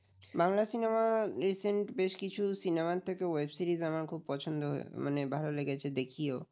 Bangla cinema recent বেশ কিছু cinema থেকে web series আমার খুব পছন্দ হয়ে মানে ভালো লেগেছে দেখিয়ো